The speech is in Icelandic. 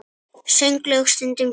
Sönglög stundum snúin.